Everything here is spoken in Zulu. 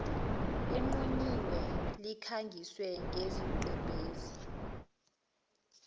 enqunyiwe likhangise ngesigqebhezi